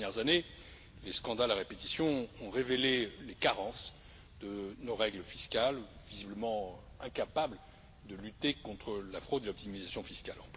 Ces dernières années, les scandales à répétition ont révélé les carences de nos règles fiscales, visiblement incapables de lutter contre la fraude et l'optimisation fiscale.